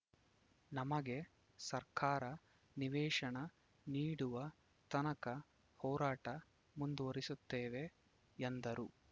ನಮಗೆ ಸರ್ಕಾರ ನಿವೇಶನ ನೀಡುವ ತನಕ ಹೋರಾಟ ಮುಂದುವರಿಸುತ್ತೇವೆ ಎಂದರು